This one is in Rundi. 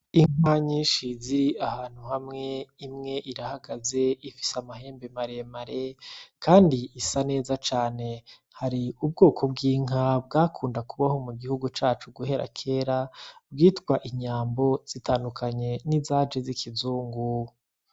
Inka nyinshi ziri ahantu hamwe imwe irahagaze iyindi ifise amahembe maremare kandi isa neza cane hari ubwoko bw'inka bwakunda kubaho mu gihugu cacu guhera kera bwitwa inyambo zitandukanye nizaje zikizungu.